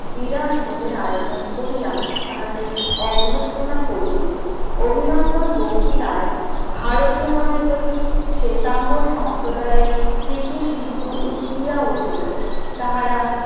বিরাট ভোজের আয়োজন করিয়া তাহাকে অভ্যর্থনা করিলেন অভিনন্দন বক্তিতায় ভারতীয় গণের প্রতি শ্বেতাঙ্গ সম্প্রদায় প্রীতি সিন্ধু উৎলিয়া উঠিল, তাহারা